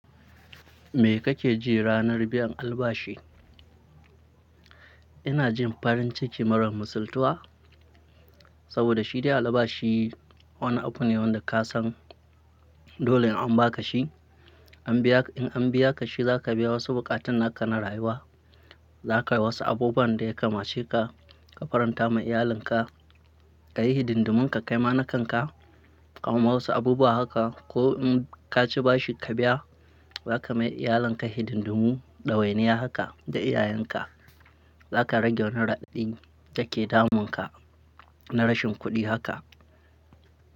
Me kake ji ranar biyan albashi? Ina jin farin ciki mara misaltuwa saboda shi dai albashi wani abu ne wanda ka san dole in an baka shi, an biya in an biya ka shi za ka biya wasu buƙatun naka na rayuwa. Za ka yi wasu abubuwan da ya kamace ka, ka faranta ma iyalinka, ka yi hidindumin ka kaima nakanka, ka gama wasu abubuwa haka. Ko in ka ci bashi ka biya, za ka mai iyalinka hidindimu, ɗawainiya haka da iyayenka. Za ka rage wani raɗaɗin da ke damunka na rashin kuɗi haka.